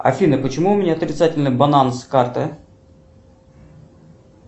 афина почему у меня отрицательный баланс карты